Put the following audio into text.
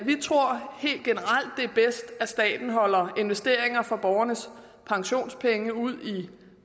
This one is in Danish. det er bedst at staten holder investeringer for borgernes pensionspenge ud i